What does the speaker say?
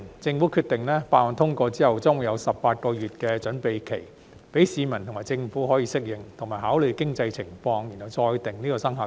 政府決定，法案通過後將會有18個月準備期，讓市民及政府可以適應，以及考慮經濟情況後再決定生效日期。